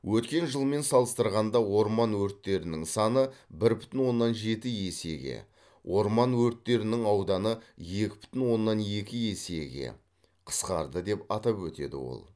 өткен жылмен салыстырғанда орман өрттерінің саны бір бүтін оннан жеті есеге орман өрттерінің ауданы екі бүтін оннан екі есеге қысқарды деп атап өтеді ол